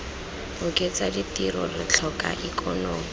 oketsa ditiro re tlhoka ikonomi